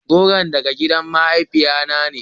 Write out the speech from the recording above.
Goron daga gidan mahaifiya na ne.